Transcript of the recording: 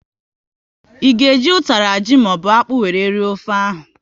Ị ga e ji utara ji ka ọ bụ akpụ wéré rie ofe ahụ?